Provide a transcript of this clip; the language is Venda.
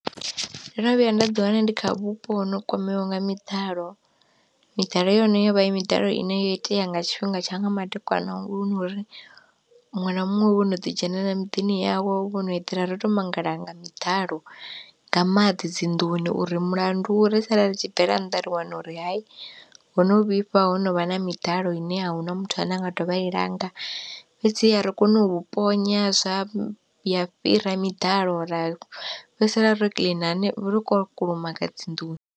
Ndo no vhuya nda ḓi wana ndi kha vhupo ho kwameaho nga miḓalo, miḓalo yone yovha i miḓalo ine yo itea nga tshifhinga tsha nga madekwana ngori muṅwe na muṅwe wo no ḓi dzhenelela muḓini yawe wo no eḓela ro to mangala nga miḓalo nga maḓi dzinḓuni uri mulandu ri sala ri tshi bvela nnḓa ri wana uri hai hono vhifha ho novha na miḓalo ine a huna muthu ane a nga dovha i langa. Fhedziha ri kone u ponya zwa ya fhira miḓalo ra fhedzisela ro kiḽina ro kulumaga dzinḓuni.